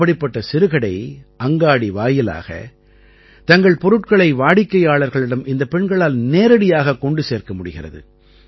இப்படிப்பட்ட சிறுகடை அங்காடி வாயிலாக தங்கள் பொருட்களை வாடிக்கையாளர்களிடம் இந்தப் பெண்களால் நேரடியாகக் கொண்டு சேர்க்க முடிகிறது